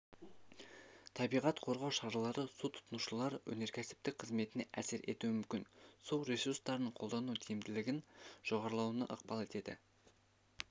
табиғат қорғау шаралары су тұтынушылар өнеркәсіптік қызметіне әсер етуі мүмкін су ресурстарын қолдану тиімділігінің жоғарылауына ықпал етеді